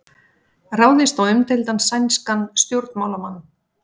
Ráðist á umdeildan sænskan stjórnmálamann